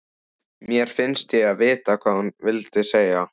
Mér finnst ég vita hvað hún vildi segja.